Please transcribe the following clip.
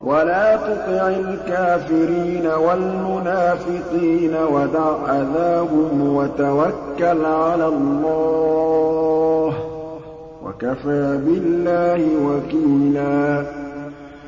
وَلَا تُطِعِ الْكَافِرِينَ وَالْمُنَافِقِينَ وَدَعْ أَذَاهُمْ وَتَوَكَّلْ عَلَى اللَّهِ ۚ وَكَفَىٰ بِاللَّهِ وَكِيلًا